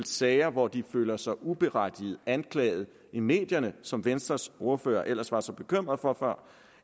sager hvor de føler sig uberettiget anklaget i medierne som venstres ordfører ellers var så bekymret for før